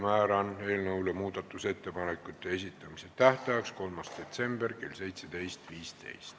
Määran eelnõu muudatusettepanekute esitamise tähtajaks 3. detsembri kell 17.15.